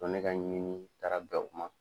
ne ka ɲɛɲini taara bɛ u ma.